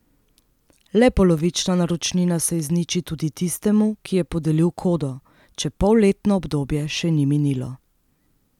Le polovična naročnina se izniči tudi tistemu, ki je podelil kodo, če polletno obdobje še ni minilo.